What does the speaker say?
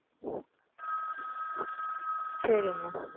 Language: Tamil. சரி Mam